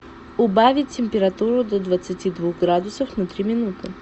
убавить температуру до двадцати двух градусов на три минуты